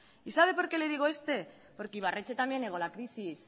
y sabe por qué le digo esto porque ibarretxe también negó la crisis